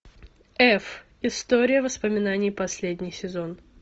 эф история воспоминаний последний сезон